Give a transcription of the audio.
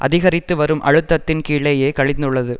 அதிகரித்துவரும் அழுத்தத்தின் கீழேயே கழிந்துள்ளது